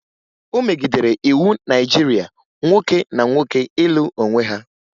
O megidere iwu Naịjirịa nwoke na nwoke ịlụ onwe ha